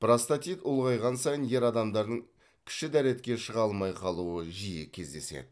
простатит ұлғайған сайын ер адамдардың кіші дәретке шыға алмай қалуы жиі кездеседі